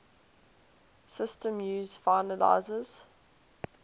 systems use finalizers